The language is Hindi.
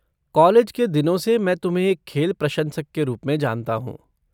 कॉलेज के दिनों से मैं तुम्हें एक खेल प्रशंसक के रूप में जानता हूँ।